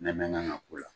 N'an mɛ kan ka k'o la